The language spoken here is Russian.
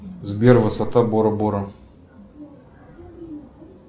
сбер высота бора бора